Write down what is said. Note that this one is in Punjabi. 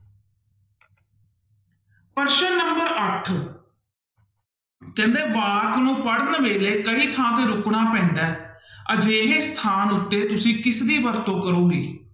ਪ੍ਰਸ਼ਨ number ਅੱਠ ਕਹਿੰਦੇ ਵਾਕ ਨੂੰ ਪੜ੍ਹਨ ਵੇਲੇ ਕਈ ਥਾਂ ਤੇ ਰੁਕਣਾ ਪੈਂਦਾ ਹੈ ਅਜਿਹੇ ਸਥਾਨ ਉੱਤੇ ਤੁਸੀਂ ਕਿਸਦੀ ਵਰਤੋਂ ਕਰੋਂਗੇ,